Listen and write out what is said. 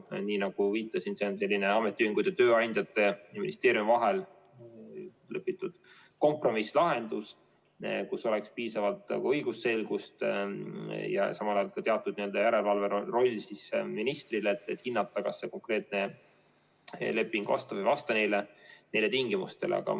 Nii nagu viitasin, see on ametiühingute, tööandjate ja ministeeriumi vahel kokku lepitud kompromisslahendus, et oleks piisavalt õigusselgust ja samal ajal ministril ka teatud järelevalve roll, et hinnata, kas see konkreetne leping vastab või ei vasta neile tingimustele.